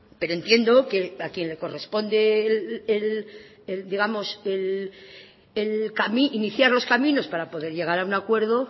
pero entiendo que a quien le corresponde iniciar los caminos para poder llegar a un acuerdo